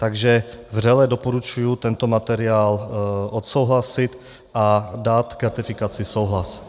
Takže vřele doporučuji tento materiál odsouhlasit a dát k ratifikaci souhlas.